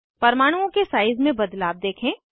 परमाणुओं के साइज़ में बदलाव देखें